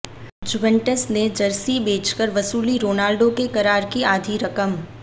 Juventus ने jersey बेचकर वसूली रोनाल्डो के करार की आधी रकम